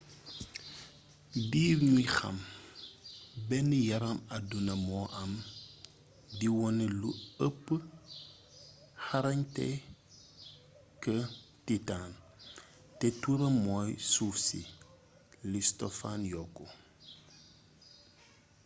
diir ñuy xam ben yaram adduna mo am di wone lu ëp xarañte kë titan; te tuuram moy suuf si,’’ li stofan yokku